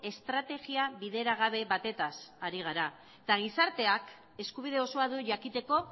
estrategia bideragabe batetaz ari gara eta gizarteak eskubide oso du jakiteko